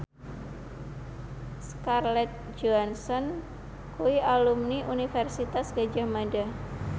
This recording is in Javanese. Scarlett Johansson kuwi alumni Universitas Gadjah Mada